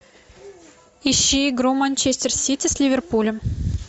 ищи игру манчестер сити с ливерпулем